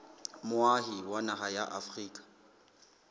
moahi wa naha ya afrika